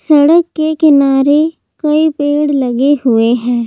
सड़क के किनारे कई पेड़ लगे हुए हैं।